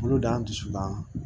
Boloda dusulan